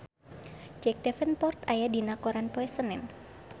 Jack Davenport aya dina koran poe Senen